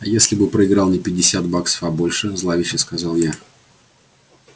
а если бы проиграл не пятьдесят баксов а больше зловеще сказала я